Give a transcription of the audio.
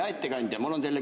Hea ettekandja!